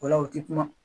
O la u ti kuma